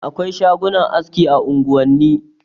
Akwai shagunan aski a unguwani.